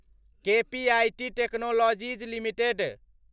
KPIT technologies limited